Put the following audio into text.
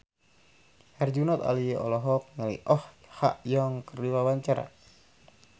Herjunot Ali olohok ningali Oh Ha Young keur diwawancara